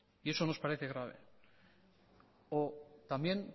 y eso nos parece grave o también